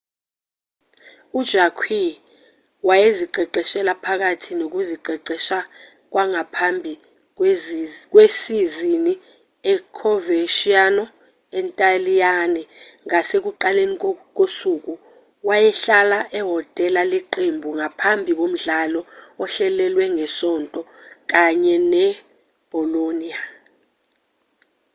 u-jarque wayeziqeqesha phakathi nokuziqeqesha kwangaphambi kwesizini e-coverciano entaliyane ngasekuqaleni kosuku wayehlala ehhotela leqembu ngaphambi komdlalo ohlelelwe ngesonto kanye ne-bolonia